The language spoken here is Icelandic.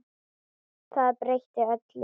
Það breytti öllu.